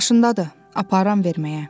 Maşındadır, aparıram verməyə.